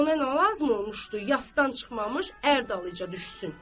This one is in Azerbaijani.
Ona nə lazım olmuşdu, yasdan çıxmamış ər dalıyca düşsün.